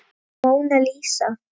Móna Lísa.